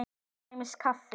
Til dæmis kaffi.